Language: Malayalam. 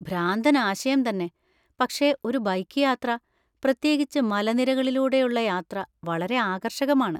ഭ്രാന്തൻ ആശയം തന്നെ, പക്ഷെ ഒരു ബൈക്ക് യാത്ര, പ്രത്യേകിച്ച് മലനിരകളിലൂടെയുള്ള യാത്ര വളരെ ആകർഷകമാണ്.